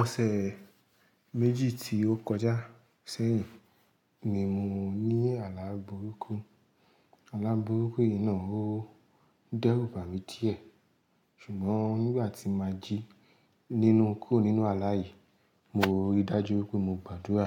Ọ̀sẹ̀ méjì tí ó kọjá sẹ́yìn ni mo ní àlá burúkú. Àlá burúkú yìí náà ó dẹ́rùbà mi díẹ̀, ṣùgbọ́n nígbà tí màá jí nínú kúrò nínú aláyè, mo rí dájú pé mo gbàdúrà.